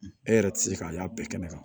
E yɛrɛ tɛ se k'a y'a bɛɛ kɛnɛ kan